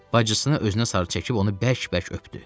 Bacısını özünə sarı çəkib onu bərk-bərk öpdü.